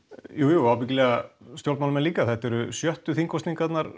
jújú og ábyggilega stjórnmálamenn líka þetta eru sjöttu þingkosningarnar